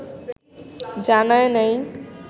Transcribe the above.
জানায় নাই